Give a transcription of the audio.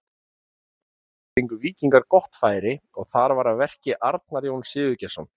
Stuttu síðar fengu Víkingar gott færi og þar var að verki Arnar Jón Sigurgeirsson.